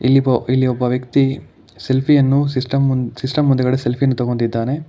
ಇಲ್ಲಿ ವೂ ಒಬ್ಬ ವ್ಯಕ್ತಿ ಸೆಲ್ಫಿ ಯನ್ನು ಸಿಸ್ಟಮ್ ಮುಂದ್ ಸಿಸ್ಟಮ್ ಮುಂದುಗಡೆ ಸೆಲ್ಫಿ ಯನ್ನು ತಗೋತಿದ್ದಾನೆ.